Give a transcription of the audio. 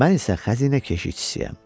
Mən isə xəzinə keşikçisiyəm.